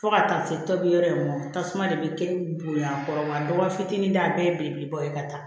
Fo ka taa se tobi yɔrɔ in ma tasuma de bɛ kɛ bonya kɔrɔ wa dɔgɔfitinin ta bɛɛ ye belebeleba ye ka taa